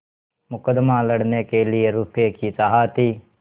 मुकदमा लड़ने के लिए रुपये की चाह थी